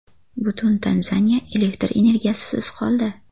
Butun Tanzaniya elektr energiyasisiz qoldi.